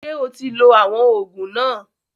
Ṣé o ti lo àwọn òògùn náà?